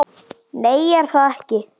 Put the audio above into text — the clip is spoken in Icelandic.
Nei, ég er það ekki.